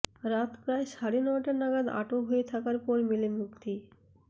রাত প্রায় সাড়ে নয়টা নাগাদ আটক হয়ে থাকার পর মেলে মুক্তি